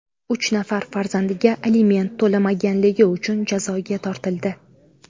uch nafar farzandiga aliment to‘lamaganligi uchun jazoga tortildi.